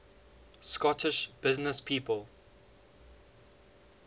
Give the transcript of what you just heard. scottish businesspeople